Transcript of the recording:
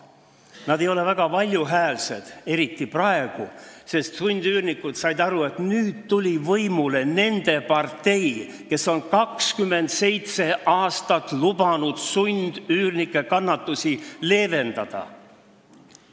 Nad ei ole väga valjuhäälsed, eriti praegu, sest sundüürnikud said aru, et nüüd tuli võimule nende partei, kes on 27 aastat lubanud sundüürnike kannatusi leevendada.